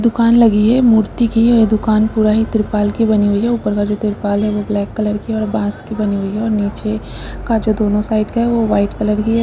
दुकान लगी है मूर्ति की है यह दुकान पूरा ही ट्रिपाल की बनी हुई है। ऊपर का जो ट्रिपाल है वह ब्लैक कलर की और बांस की बनी हुई है और नीचे का जो दोनों साइड का है वह वाइट कलर ही है।